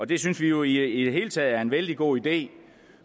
det synes vi jo i det hele taget er en vældig god idé